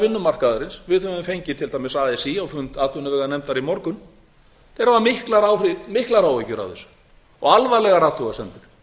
vinnumarkaðarins við höfum fengið til dæmis así á fund atvinnuveganefndar í morgun þeir hafa miklar áhyggjur af þessu og alvarlegar athugasemdir